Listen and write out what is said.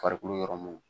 Farikolo yɔrɔ mun